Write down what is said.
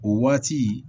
O waati